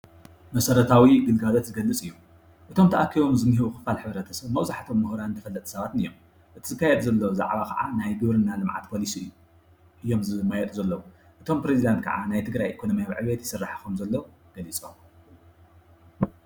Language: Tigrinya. መሰረታዊ ግልጋሎት ዝገልፅ እዩ እቶም ተኣኪቦም ዝኒሀው ክፋል ሕብረተሰብ መብዛሕተኦም ሙሁራትን ተፈለጥቲን ሰባት እዮም እቲ ዝካየድ ዘሎ ዛዕባ ከዓ ናይ ግብርና ልምዓት ፖሊሲ እዩ እዮም ዝመያየጡ ዘለዉ እቶም ፕረዝደንት ከዓ ናይ ትግራይ ኤኮኖምያዊ ዕብየት ይስራሕ ከም ዘሎ ገሊፆም።